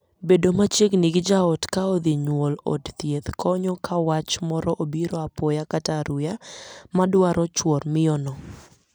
Bedo machiegni gi jaot ka odhi nyuol od thieth konyo ka wach moro obiro apoya (aruya) ma dwaro chuor miyono.